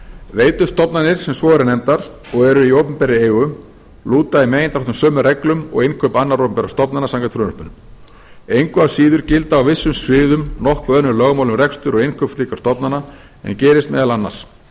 veitustofnanir sem svo eru nefndar og eru í opinberri eigu lúta í megindráttum sömu reglum og innkaup annarra opinberra stofnana samkvæmt frumvarpinu engu að síður gilda á vissum sviðum nokkuð önnur lögmál um rekstur og innkaup slíkra